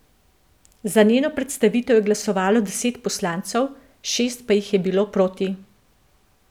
Za njeno predstavitev je glasovalo deset poslancev, šest pa jih je bilo proti.